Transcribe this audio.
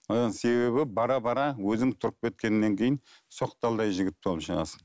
одан себебі бара бара өзің тұрып кеткеннен кейін соқталдай жігіт болып шығасың